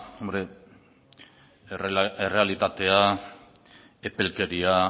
errealitatea epelkeria